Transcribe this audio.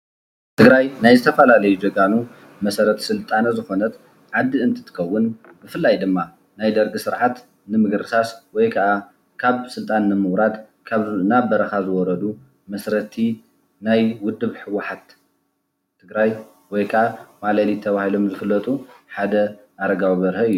ትግራይ ናይ ዝተፈላለዩ ጅጋኑ መሰረት ስልጣነ ዝኾነት ዓዲ እትትኸውን ብፈላይ ድማ ናይ ደርጊ ስርዓት ብምድምሳስ ወይ ከዓ ስልጣን ንምውራድ ናብ በረኳ ዝወረዱ መስረቲ ናይ ውድብ ሕዋሓት ትግራይ ወይ ከዓ ማለሊት ተበሂሎም ዝፍለጡ ሓደ ኣረጋዊ በርሀ እዩ።